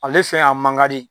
Ale fɛn a man ka di